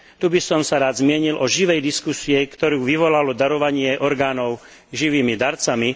Tu by som sa rád zmienil o živej diskusii, ktorú vyvolalo darovanie orgánov živými darcami.